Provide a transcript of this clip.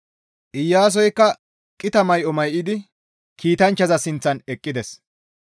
Iyaasoykka qita may7o may7idi kiitanchchaza sinththan eqqides.